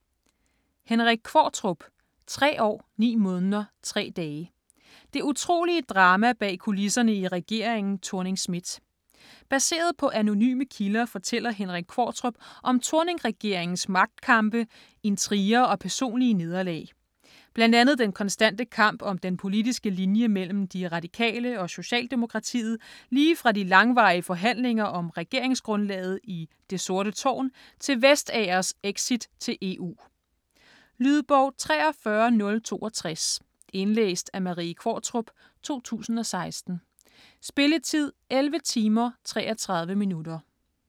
Qvortrup, Henrik: Tre år ni måneder tre dage: det utrolige drama bag kulisserne i regeringen Thorning-Schmidt Baseret på anonyme kilder fortæller Henrik Qvortrup om Thorning-regeringens magtkampe, intriger og personlige nederlag. Bl.a. den konstante kamp om den politiske linje mellem De Radikale og Socialdemokratiet lige fra de langvarige forhandlinger om regeringsgrundlaget i "Det sorte tårn" til Vestagers exit til EU. Lydbog 43062 Indlæst af Marie Qvortrup, 2016. Spilletid: 11 timer, 33 minutter.